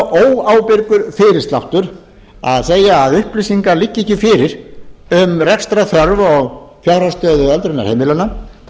óábyrgur fyrirsláttur að segja að upplýsingar liggi ekki fyrir um rekstrarþörf og fjárhagsstöðu öldrunarheimilanna þær liggja fyrir